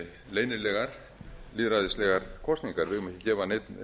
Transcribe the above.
leynilegar lýðræðislegar kosningar við eigum ekki að gefa neinn